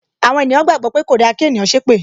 Àwọn ènìyàn gbàgbó pé kòda kí ènìyàn ṣépè